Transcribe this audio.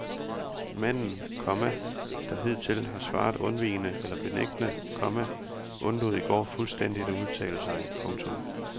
Manden, komma der hidtil har svaret undvigende eller benægtede, komma undlod i går fuldstændig at udtale sig. punktum